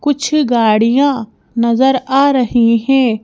कुछ गाड़ियां नजर आ रही हैं।